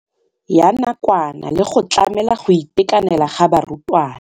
Ya nakwana le go tlamela go itekanela ga barutwana.